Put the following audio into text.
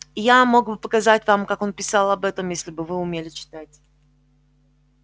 я мог бы показать вам как он писал об этом если бы вы умели читать